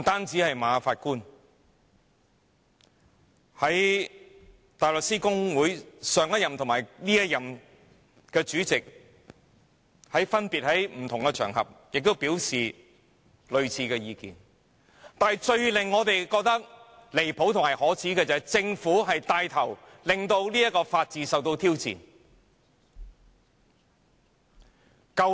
除馬法官外，香港大律師公會前任及現任主席亦分別於不同場合表達類似意見，但最令我們感到離譜和可耻的是政府牽頭令法治受到挑戰。